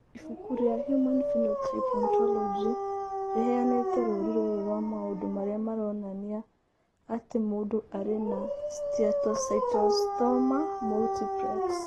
Ibuku rĩa Human Phenotype Ontology rĩheanĩte rũũri rũrũ rwa maũndũ marĩa maronania atĩ mũndũ arĩ na Steatocystoma multiplex.